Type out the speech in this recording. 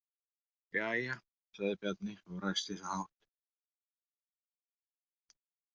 Jæja, sagði Bjarni og ræskti sig hátt.